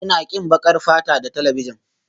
Ina ƙin baƙar fata da talabijin